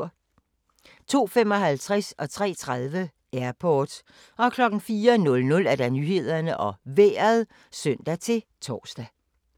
02:55: Airport 03:30: Airport 04:00: Nyhederne og Vejret (søn-tor)